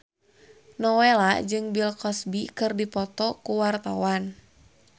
Nowela jeung Bill Cosby keur dipoto ku wartawan